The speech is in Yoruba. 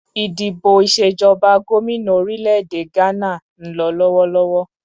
Ìdìbò ìṣèjọba gómìnà orílè-èdè Gbana ń lọ lọ́wọ́lọ́wọ́